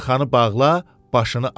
yaxanı bağla, başını aç.